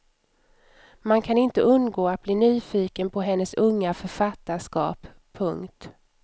Man kan inte undgå att bli nyfiken på hennes unga författarskap. punkt